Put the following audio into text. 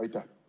Aitäh!